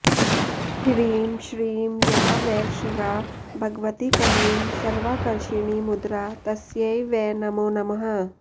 ह्रीं श्रीं या वै शिवा भगवती क्लीं सर्वाकर्षिणीमुद्रा तस्यै वै नमो नमः